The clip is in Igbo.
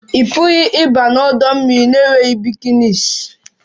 Ị pụghị ịbanye n'ọdọ mmiri na-enweghị bikinis